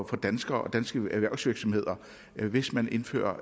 for danskere og danske erhvervsvirksomheder hvis man indfører